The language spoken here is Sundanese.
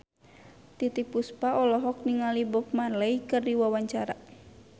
Titiek Puspa olohok ningali Bob Marley keur diwawancara